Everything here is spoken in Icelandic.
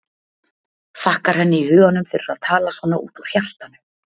Þakkar henni í huganum fyrir að tala svona út úr hjartanu.